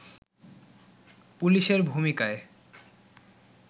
পুলিশের ভূমিকায়